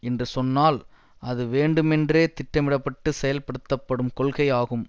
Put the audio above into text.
என்று சொன்னால் அது வேண்டுமென்றே திட்டமிட பட்டு செயல்படுத்தப்படும் கொள்கை ஆகும்